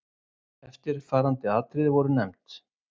Eftirfarandi atriði voru nefnd